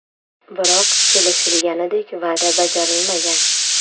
Biroq kelishilganidek va’da bajarilmagan.